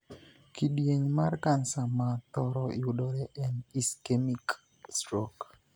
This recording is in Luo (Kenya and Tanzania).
Kidieny mar kansa ma thoro yudore en 'ischemic stroke'.